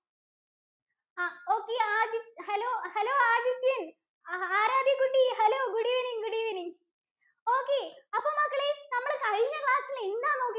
okay Adi hello, hello Adithyan‍. Aaradhya കുട്ടി, hello, good evening, good evening, okay. അപ്പോ മക്കളേ നമ്മള് കഴിഞ്ഞ class ഇൽ എന്താ നോക്കി